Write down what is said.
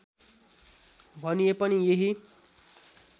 भनिए पनि यही